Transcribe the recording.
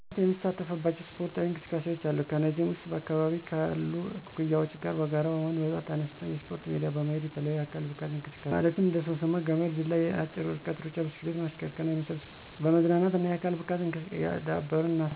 ለመዝናናት የምሳተፍባቸው ስፖርታዊ እንቅስቃሴዎች አሉ። ከነዚህም ውስጥ በአካባቢየ ካሉ እኩዮቸ ጋር በጋራ በመሆን በጠዋት ተነስተን የስፖርት ሜዳ ላይ በመሄድ የተለያዩ የአካል ብቃት እንቅስቃሴዎችን ማለትም እንደ ሶምሶማ፣ ገመድ ዝላይ፣ የአጭር ርቀት ሩጫ፣ ብስክሌት ማሽከርከር እና የመሳሰሉትን ስፖርታዊ እንቅስቃሴዎች በመዝናናትና የአካል ብቃታችንን እያዳበርን እናሳልፋለን። እንዲሁም በእረፍት ቀናቶቸ ከማደርጋቸው እና በጣም ዘና ከሚያደርጉኝ ነገሮች ውስጥ የውሀ ዋና አንዱና ዋነኛው ነዉ።